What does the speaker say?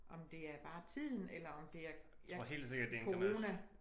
Om det er bare tiden eller om det er corona